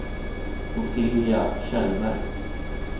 Ottilia Kjellberg